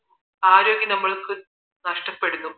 ആരോഗ്യം നമുക്ക് നഷ്ടപ്പെടുന്നു